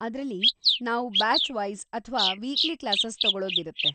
ಅದ್ರಲ್ಲಿ, ನಾವ್‌ ಬ್ಯಾಚ್‌-ವೈಸ್‌ ಅಥ್ವಾ ವೀಕ್ಲಿ ಕ್ಲಾಸಸ್‌ ತಗೊಳೋದಿರತ್ತೆ.